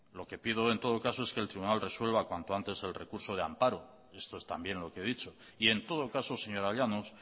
lo que pido en todo caso es que el tribunal resuelva cuanto antes el recurso de ampara esto es también lo que he dicho y en todo caso señora llanos